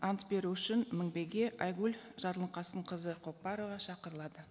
ант беру үшін мінбеге айгүл жарылқасынқызы көпбарова шақырылады